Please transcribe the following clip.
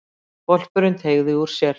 Hvolpurinn teygði úr sér.